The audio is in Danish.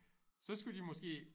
Så skulle de måske